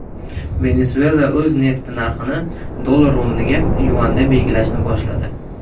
Venesuela o‘z nefti narxini dollar o‘rniga yuanda belgilashni boshladi.